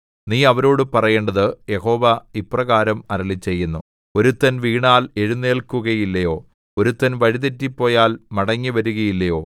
നീ അവരോടു പറയേണ്ടത് യഹോവ ഇപ്രകാരം അരുളിച്ചെയ്യുന്നു ഒരുത്തൻ വീണാൽ എഴുന്നേല്ക്കുകയില്ലയോ ഒരുത്തൻ വഴി തെറ്റിപ്പോയാൽ മടങ്ങിവരുകയില്ലയോ